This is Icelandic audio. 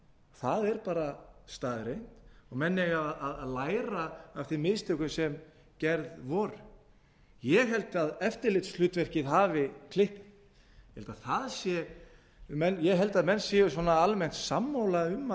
það er staðreynd og menn eiga að læra af þeim mistökum sem gerð voru ég held að eftirlitshlutverkið hafi klikkað ég held að menn séu almennt sammála um